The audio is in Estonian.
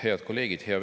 Head kolleegid!